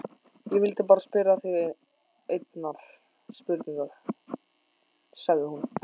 Ég vildi bara spyrja þig einnar spurningar, sagði hún.